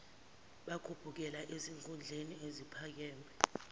bakhuphukela ezikhundleni eziphakeme